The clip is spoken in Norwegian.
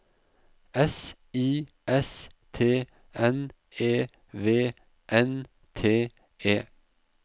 S I S T N E V N T E